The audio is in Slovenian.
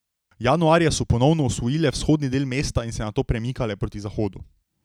Januarja so ponovno osvojile vzhodni del mesta ter se nato premikale proti zahodu.